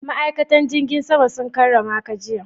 Ma'aikatan jigin sama sun karramaka jiya?